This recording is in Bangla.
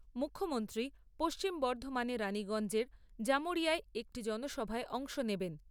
মুখ্যমন্ত্রী পশ্চিম বর্ধমানে রানীগঞ্জের জামুড়িয়ায় একটি জনসভায় অংশ নেবেন।